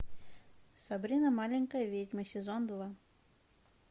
сабрина маленькая ведьма сезон два